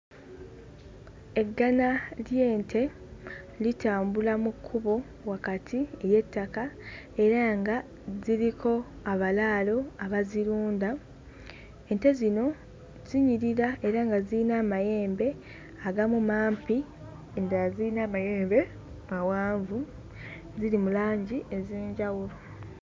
Eggana ly'ente litambula mu kkubo wakati ly'ettaka era nga ziriko abalaalo abazirunda. Ente zino zinyirira era nga ziyina amayembe agamu mampi endala ziyina amayembe mawanvu, ziri mu langi ez'enjawulo.